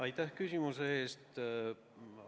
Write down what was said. Aitäh küsimuse eest!